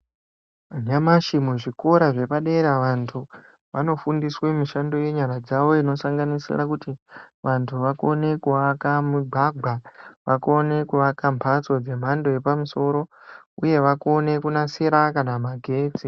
Nyamashi muzvikora zvepadera vantu vanofundiswe mishando yenyara dzavo inosanganisa kuti vantu vakone kuhamba mumugwaga ,vakone kuyakamhatso dzemhando yepamusoro ,uye vakobe kunasira magetsi.